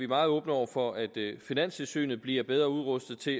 meget åbne over for at finanstilsynet bliver bedre udrustet til